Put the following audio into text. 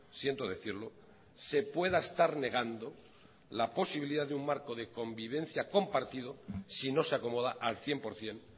siento decirlo se pueda estar negando la posibilidad de un marco de convivencia compartido si no se acomoda al cien por ciento